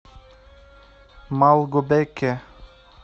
малгобеке